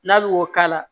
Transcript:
N'a bɛ o k'a la